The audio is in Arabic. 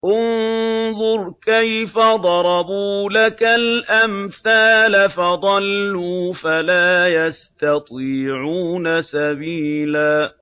انظُرْ كَيْفَ ضَرَبُوا لَكَ الْأَمْثَالَ فَضَلُّوا فَلَا يَسْتَطِيعُونَ سَبِيلًا